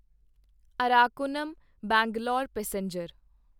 Arakkonam Bangalore passenger